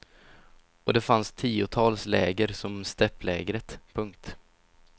Och det fanns tiotals läger som stäpplägret. punkt